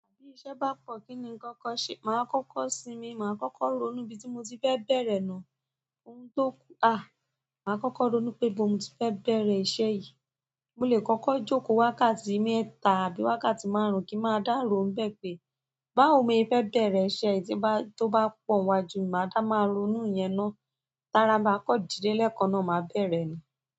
Bí iṣẹ́ bá pọ̀ kí ni ń kọ́kọ́ ṣe? Màá kọ́kọ́ sinmi, màá kọ́kọ́ ronú ibí tí mo ti fẹ́ bẹ̀rẹ̀ náà, oun tó, à! Màá kọ́kọ́ ronú pé ibó mo ti fẹ́ bẹ̀rẹ̀ iṣẹ́ yìí, mo lè kọ́kọ́ jókòó wákàtí mẹ́ta àbí wákàtí márùn-ún kí ma dá ró n bẹ́ẹ̀ pé, báwo mọ ye fe bere iṣẹ́ yìí tin bá, to ba pọ̀ iwájú mi, màá dá máa ronú iyẹn ná. Tara ma kan dide lekan náà ma de bere ni.